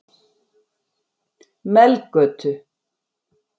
Melgötu